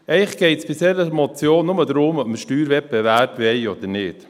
Eigentlich geht es bei dieser Motion nur darum, ob wir Steuerwettbewerb wollen oder nicht.